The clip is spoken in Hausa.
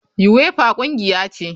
Uefa kungiya ce.